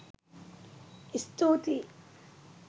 ඉස්තූතියි